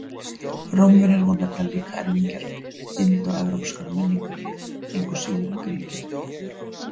Rómverjar voru nefnilega líka erfingjar indóevrópskrar menningar, engu síður en Grikkir.